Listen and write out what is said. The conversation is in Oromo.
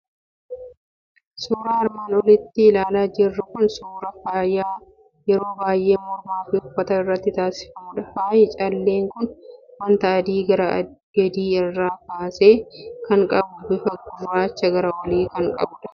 Suuraan armaan olitti ilaalaa jirru kun suuraa faaya yeroo baay'ee mormaa fi uffata irratti taasifamudha. Faayi callee kun waanta adii gara gadii isaa irraa kan qabu, bifa gurraacha gara olii kan qabudha.